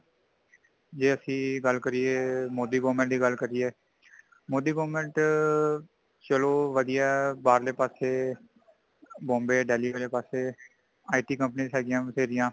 ਜੇ ਅਸੀਂ ਗੱਲ ਕਰੀਏ, ਮੋਦੀ government ਦੀ ਗੱਲ ਕਰੀਏ, ਮੋਦੀ government ਚੱਲੋ ਵਧੀਆ ਹੈ ਬਾਰਲੇ ਪਾਸੇ bombay ,delhi ਪਾਸੇI.Tcompanes ਹੇਗੀਆਂ ਬਥੇਰੀਆਂ